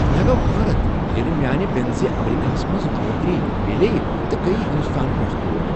مےٚ گوٚو حیرت ییٚلہ میانِہ بیٚنزٕ امریکہس منٛز نوکری میلیے تہٕ گٔیۍ ہندوستان پیٹھ تور۔